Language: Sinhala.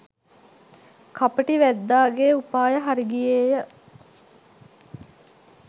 කපටි වැද්දාගේ උපාය හරිගියේය